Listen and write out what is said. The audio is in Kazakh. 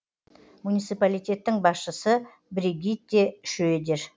муниципалитеттің басшысы бригитте шредер